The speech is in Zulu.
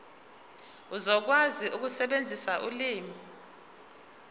uzokwazi ukusebenzisa ulimi